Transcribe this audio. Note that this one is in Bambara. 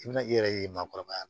I bɛna i yɛrɛ ye maakɔrɔba